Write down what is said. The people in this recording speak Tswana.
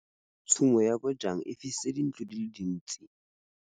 Tshumô ya bojang e fisitse dintlo di le dintsi.